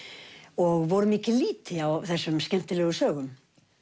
og voru mikið lýti á þessum skemmtilegu sögum